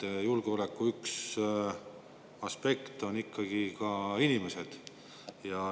Üks julgeolekuaspekte on ikkagi ka inimesed.